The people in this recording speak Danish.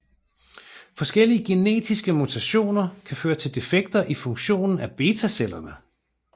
Forskellige genetiske mutationer kan føre til defekter i funktionen af betacellerne